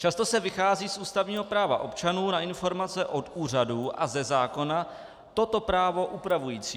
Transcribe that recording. Často se vychází z ústavního práva občanů na informace od úřadů a ze zákona toto právo upravující.